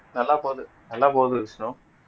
நல்லா போகுது நல்லா போகுது விஷ்ணு